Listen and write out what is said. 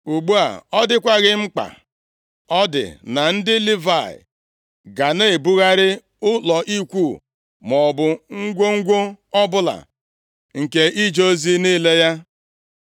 Ugbu a, ọ dịkwaghị mkpa ọ dị na ndị Livayị ga na-ebugharị ụlọ ikwu, maọbụ ngwongwo ọbụla nke ije ozi niile ya.”